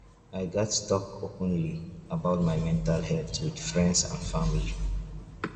i gats talk openly about my mental health with friends and family.